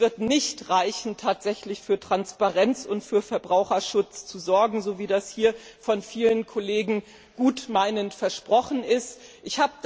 Es wird nicht ausreichen, tatsächlich für Transparenz und Verbraucherschutz zu sorgen, wie das hier von vielen Kollegen gutmeinend versprochen wird.